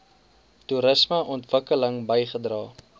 toerisme ontwikkeling bygedra